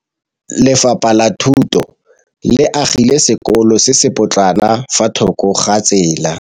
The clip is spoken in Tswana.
Lefapha la Thuto le agile sekôlô se se pôtlana fa thoko ga tsela.